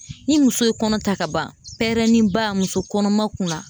Ni muso ye kɔnɔ ta ka ban, pɛrɛnni ba muso kɔnɔma kunna.